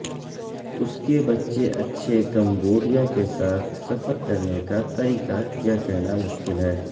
اس کے بچے اچھے کمبوڈیا کے ساتھ سفر کرنے کا طریقہ کیا کہنا مشکل ہے